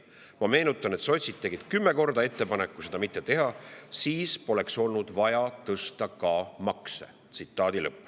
Ma meenutan, et sotsid tegid kümme korda ettepaneku seda mitte teha, siis poleks olnud vaja ka makse" tõsta.